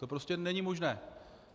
To prostě není možné.